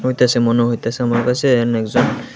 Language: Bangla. হইতাসে মনে হইতাসে আমার কাসে এহানে একজন--